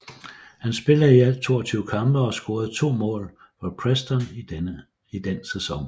Han spillede i alt 22 kampe og scorede to mål for Preston i den sæson